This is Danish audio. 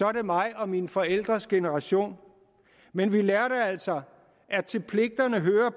er det mig og mine forældres generation men vi lærte altså at til pligterne hører